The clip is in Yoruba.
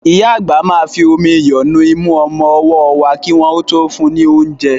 Ìyá àgbà máa fi omi iyọ̀ nu imú ọmọ ọwọ́ wa kí ó tó fún un ní oúnjẹ.